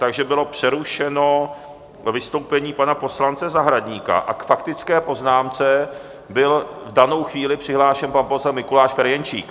Takže bylo přerušeno vystoupení pana poslance Zahradníka a k faktické poznámce byl v danou chvíli přihlášen pan poslanec Mikuláš Ferjenčík.